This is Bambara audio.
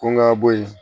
Ko n ga bɔ yen